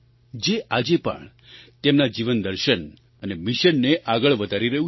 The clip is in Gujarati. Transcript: જે આજે પણ તેમના જીવનદર્શન અને મિશનને આગળ વધારી રહ્યું છે